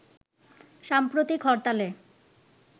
সাম্প্রতিক হরতালে